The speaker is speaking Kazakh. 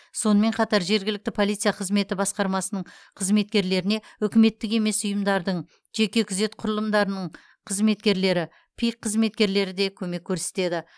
сонымен қатар жергілікті полиция қызметі басқармасының қызметкерлеріне үкіметтік емес ұйымдардың жеке күзет құрылымдарының қызметкерлері пик қызметкерлері де көмек көрсетеді